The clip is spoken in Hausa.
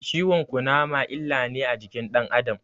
Cizon Ƙunama illa ne ga jikin dan Adam